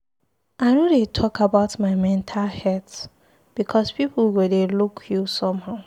I no dey talk about my mental health because pipu go dey look you somehow.